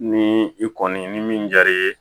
Ni i kɔni ni min diyar'i ye